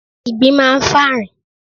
Ìgbín máa ń fà rìn.